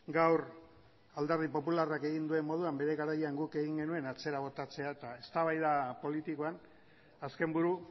gaur alderdi popularrak egin duen moduan bere garaian guk egin genuen atzera botatzea eta eztabaida politikoan azken buru